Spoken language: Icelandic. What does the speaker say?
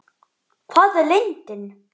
Hvar er lindin?